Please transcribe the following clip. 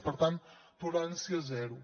per tant tolerància zero